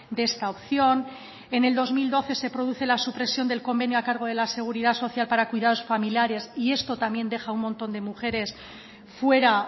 de esta opción en el dos mil doce se produce la supresión del convenio a cargo de la seguridad social para cuidados familiares y esto también deja un montón de mujeres fuera